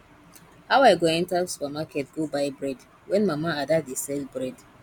how i go enter supermarket go buy bread when mama ada dey sell bread